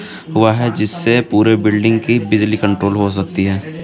वह जिससे पूरे बिल्डिंग की बिजली कंट्रोल हो सकती है.